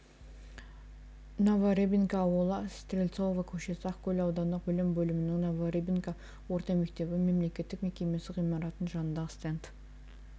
новорыбинка ауылы стрельцова көшесі ақкөл аудандық білім бөлімінің новорыбинка орта мектебі мемлекеттік мекемесі ғимаратының жанындағы стенд